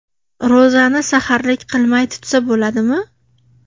Ro‘zani saharlik qilmay tutsa bo‘ladimi?.